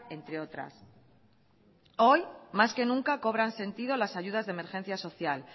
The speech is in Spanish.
entre otras hoy más que nunca cobran sentido las ayudas de emergencia social